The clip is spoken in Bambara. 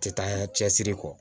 Tɛ taa cɛsiri kɔ